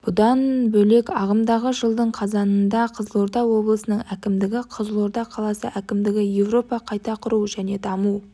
бұдан бөлек ағымдағы жылдың қазанында қызылорда облысының әкімдігі қызылорда қаласы әкімдігі европа қайта құру және даму